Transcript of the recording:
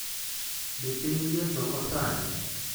Be piny liet oko sani?